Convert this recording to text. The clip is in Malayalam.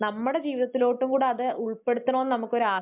നമ്മുടെ ജീവിതത്തിലോട്ട് കൂടെ അത് ഉൾപ്പെടുത്തണമെന്ന് നമുക്ക് ഒരു ആ